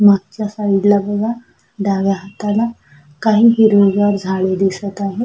मागच्या साइड ला बघा डाव्या हाताला काही हिरवी गार झाडे दिसत आहेत.